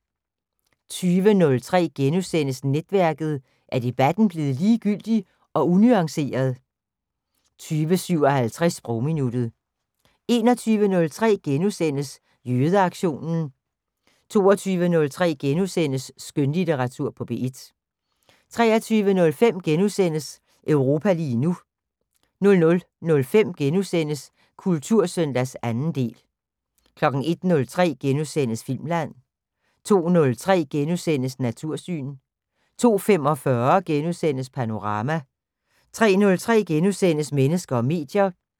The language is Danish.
20:03: Netværket: Er debatten blevet ligegyldig og unuanceret? * 20:57: Sprogminuttet 21:03: Jødeaktionen * 22:03: Skønlitteratur på P1 * 23:05: Europa lige nu * 00:05: Kultursøndag 2. del * 01:03: Filmland * 02:03: Natursyn * 02:45: Panorama * 03:03: Mennesker og medier *